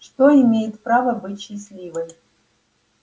что имеет право быть счастливой